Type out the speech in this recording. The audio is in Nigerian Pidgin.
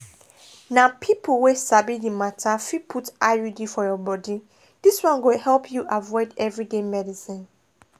na people wey sabi the matter fit put iud for your body this one go help you avoid everyday medicines.